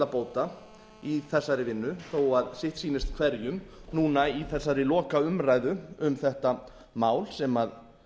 mikilla bóta í þessari vinnu þó að sitt sýnist hverjum núna í þessari lokaumræðu um þetta mál sem